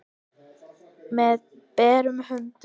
Með berum höndum.